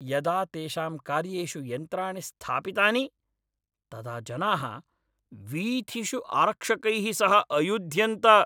यदा तेषां कार्येषु यन्त्राणि स्थापितानि तदा जनाः वीथिषु आरक्षकैः सह अयुध्यन्त।